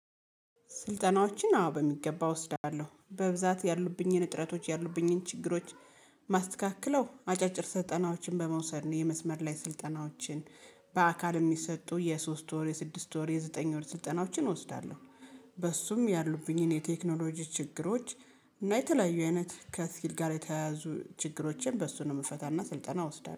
ስልጠናዎችን አዎ በሚገባ እወስዳለሁ በብዛት ያሉብኝን እጥረቶች ያሉብኝን ችግሮች ማስተካከለው አጫጭር ስልጠናዎችን በመውሰድ የመስመር ላይ ስልጠናዎችን በአካል የሚሰጡ የሶስት ወር የስድስት ወር የዘጠኝ ወር ስልጠናዎችን እወስዳለሁ። በሱም ያሉብኝን የቴክኖሎጂ ችግሮች። እና የተለያዩ አይነት ከስኪል ጋር የተያያዙ ችግሮችን በሱ ነው የምፈታና ስልጠና ወስዳል